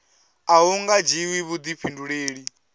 a hu nga dzhiwi vhuḓifhinduleli